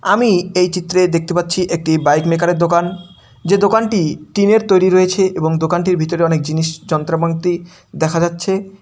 আমি এই চিত্রে দেখতে পাচ্ছি একটি বাইক মেকার - এর দোকান যে দোকানটি টিনের তৈরী রয়েছে এবং দোকানটির ভিতরে অনেক জিনিস যন্ত্র মন্ত্রি দেখা যাচ্ছে।